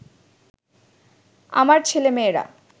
আমার ছেলেমেয়েরা